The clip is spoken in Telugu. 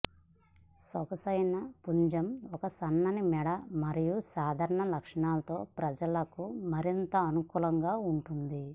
సొగసైన పుంజం ఒక సన్నని మెడ మరియు సాధారణ లక్షణాలతో ప్రజలకు మరింత అనుకూలంగా ఉంటుంది